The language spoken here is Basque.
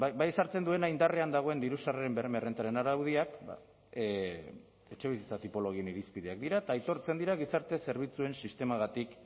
indarrean dagoen diru sarreren berme errentaren araudiak ba etxebizitza tipologien irizpideak dira eta aitortzen dira gizarte zerbitzuen sistematik